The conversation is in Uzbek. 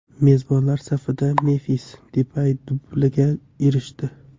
Mezbonlar safida Memfis Depay dublga erishdi.